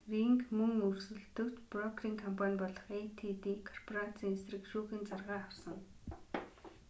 ринг мөн өрсөлдөгч брокерийн компани болох эйдити корпорацийн эсрэг шүүхийн заргаа авсан